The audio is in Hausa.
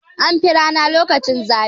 An fi rana lokaci zafi.